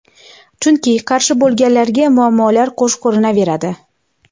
chunki qarshi bo‘lganlarga muammolar qo‘sh ko‘rinaveradi.